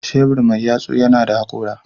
Shebur mai yatsu yana da hakora.